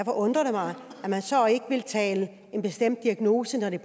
undrer det mig at man så ikke vil tale en bestemt diagnose når det